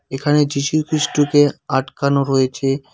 এখানে যীশু খ্রীষ্টকে আটকানো রয়েছে।